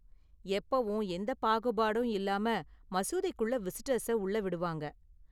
எப்பவும் எந்த பாகுபாடும் இல்லாம மசூதிக்குள்ள விசிட்டர்ஸ உள்ள விடுவாங்க.